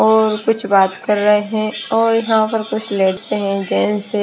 और कुछ बात कर रहे हैं और यहाँ पर कुछ लेडीज जेंट्स हैं।